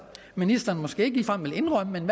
ministeren vil måske ikke ligefrem indrømme men